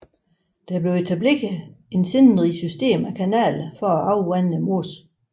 Der blev etableret et sindrigt system af kanaler for at afvande mosen